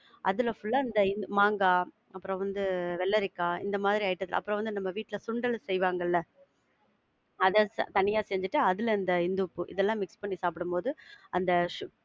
அதுல full ஆ இந்த மாங்கா அப்புறம் வந்து வெள்ளரிக்காய், இந்த மாதிரி item சாப்பிடலாம். அப்புறம் வந்து நம்ம வீட்ல சுண்டல் செய்வாங்கல அத தனிய செஞ்சிட்டு, அதுல இந்த இந்துப்பு, இதெல்லாம் mix பண்ணி சாப்பிடும்போது அந்த சு~